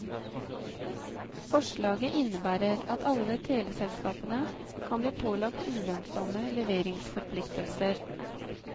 Forslaget innebærer at alle teleselskapene kan bli pålagt ulønnsomme leveringsforpliktelser.